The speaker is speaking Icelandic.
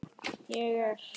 Ég er.